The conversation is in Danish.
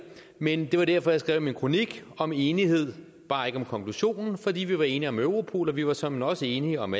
men det var derfor jeg skrev min kronik om enighed bare ikke om konklusionen for vi var enige om europol og vi var såmænd også enige om